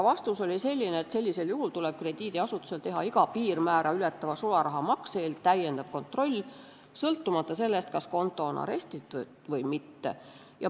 Vastus oli selline, et sellisel juhul tuleb krediidiasutusel teha iga piirmäära ületava sularahamakse korral lisakontroll, sõltumata sellest, kas konto on arestitud või mitte.